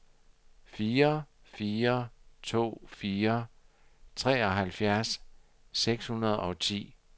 fire fire to fire treoghalvfjerds seks hundrede og ti